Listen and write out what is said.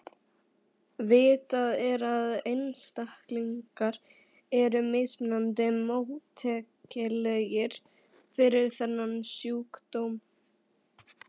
Vitað er að einstaklingar eru mismunandi móttækilegir fyrir þennan sjúkdóm.